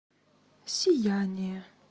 сияние